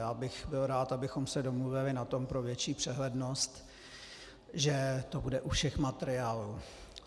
Já bych byl rád, abychom se domluvili na tom, pro větší přehlednost, že to bude u všech materiálů.